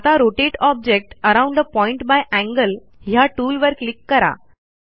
आता rotate object around a point by angle ह्या टूलवर क्लिक करा